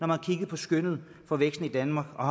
har kigget på skønnet for væksten i danmark og